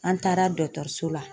An taara dɔtɔrso la